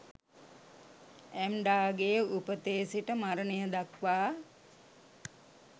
ඇම්ඩාගේ උපතේ සිට මරණය දක්වා